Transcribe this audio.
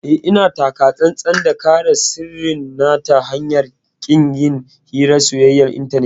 Eh, ina taka tsantsan da kare sirrin na ta hanyar ƙin yin hirar soyayyar intanet.